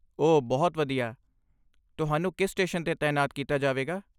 ਓ ਬਹੁਤ ਵਧੀਆ! ਤੁਹਾਨੂੰ ਕਿਸ ਸਟੇਸ਼ਨ 'ਤੇ ਤਾਇਨਾਤ ਕੀਤਾ ਜਾਵੇਗਾ?